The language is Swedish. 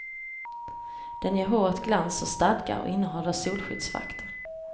Den ger håret glans och stadga och innehåller solskyddsfaktor.